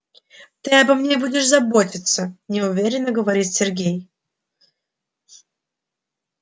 ты обо мне будешь заботиться неуверенно говорит сергей